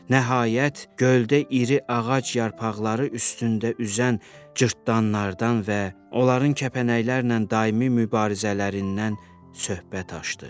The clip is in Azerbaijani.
Nəhayət, göldə iri ağac yarpaqları üstündə üzən cırtdanlardan və onların kəpənəklərlə daimi mübarizələrindən söhbət açdı.